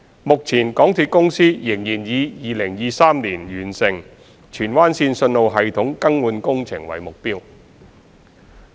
目前港鐵公司仍然以2023年完成荃灣綫信號系統更換工程為目標。